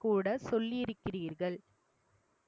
கூட சொல்லியிருக்கிறீர்கள்